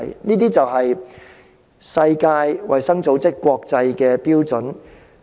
這是世衞制訂的國際標準。